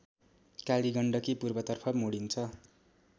कालीगण्डकी पूर्वतर्फ मोडिन्छ